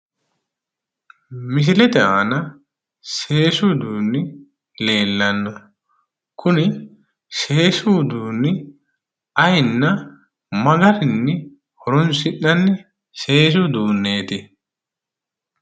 Misilete aana seesu uduunni leellannoe kuni seesu uduunni ayiinna magarinni horonsi'nanni seesu uduunneeti?